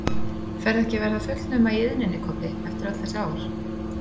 Ferðu ekki að verða fullnuma í iðninni, Kobbi, eftir öll þessi ár?